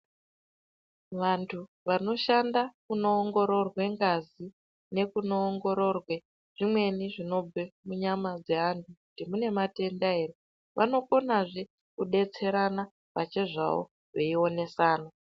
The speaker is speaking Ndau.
Vantu vanoshanda kunoongororwe ngazi nekunoongororwe zvimweni zvinobve munyama dzaantu kuti mune matenda ere vanokonazve kudetserana pachezvawo veionesana.